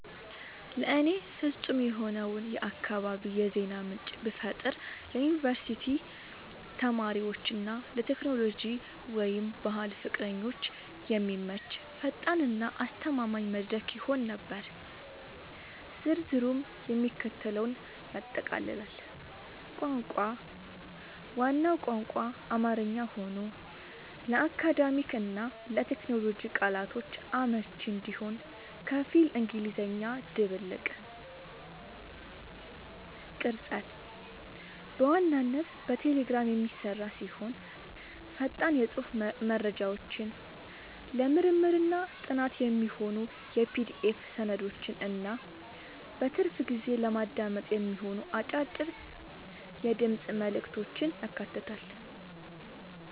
ለእኔ ፍጹም የሆነውን የአካባቢ የዜና ምንጭ ብፈጥር ለዩኒቨርሲቲ ተማሪዎች እና ለቴክኖሎጂ/ባህል ፍቅረኞች የሚመች፣ ፈጣን እና አስተማማኝ መድረክ ይሆን ነበር። ዝርዝሩም የሚከተለውን ያጠቃልላል - ቋንቋ፦ ዋናው ቋንቋ አማርኛ ሆኖ፣ ለአካዳሚክ እና ለቴክኖሎጂ ቃላቶች አመቺ እንዲሆን ከፊል እንግሊዝኛ ድብልቅ። ቅርጸት፦ በዋናነት በቴሌግራም የሚሰራ ሲሆን፣ ፈጣን የጽሑፍ መረጃዎችን፣ ለምርምርና ጥናት የሚሆኑ የPDF ሰነዶችን እና በትርፍ ጊዜ ለማዳመጥ የሚሆኑ አጫጭር የድምፅ መልዕክቶችን ያካትታል።